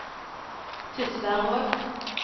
Tysværvåg